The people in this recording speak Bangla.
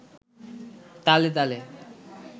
তালে তালে